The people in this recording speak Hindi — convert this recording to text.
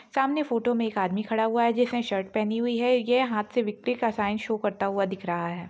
सामने फोटो मे एक आदमी खड़ा हुआ है जिस ने शर्ट पहनी हुई है ये हाथ से विकट्री का साइन शो करता हुआ दिख रहा है।